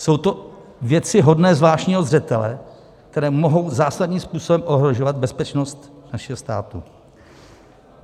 Jsou to věci hodné zvláštního zřetele, které mohou zásadním způsobem ohrožovat bezpečnost našeho státu.